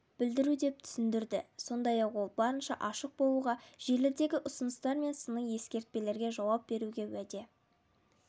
білдіру деп түсіндірді сондай-ақ ол барынша ашық болуға желідегі ұсыныстар мен сыни-ескертпелерге жауап беруге уәде